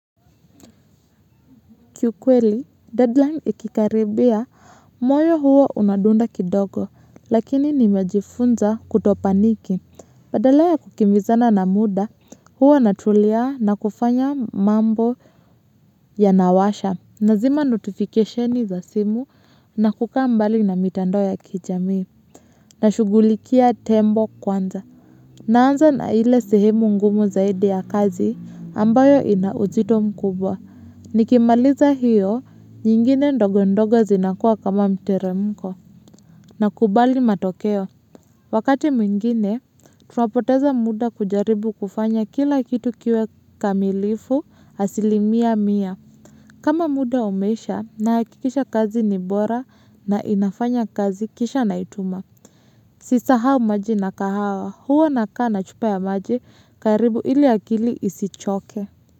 Kiukweli deadline ikikaribia moyo huwa unadunda kidogo lakini nimejifunza kuto painiki. Badala ya kukimbizana na muda, huwa natulia na kufanya mambo ya nawasha. Nazima notificationi za simu na kukaa mbali na mitando ya kijami. Na shugulikia tembo kwanza. Naanza na ile sehemu ngumu zaidi ya kazi ambayo inauzito mkubwa. Nikimaliza hiyo, nyingine ndogo ndogo zinakua kama mteremko. Na kubali matokeo. Wakati mwingine, tunapoteza muda kujaribu kufanya kila kitu kiwe kamilifu asilimia mia. Kama muda umeisha na hakikisha kazi nibora na inafanya kazi kisha naituma. Sisahau maji nakahawa, huwa nakaa na chupa ya maji karibu ili akili isichoke.